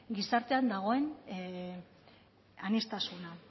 gizartean dagoen aniztasuna